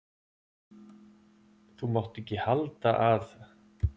Þú mátt ekki halda að.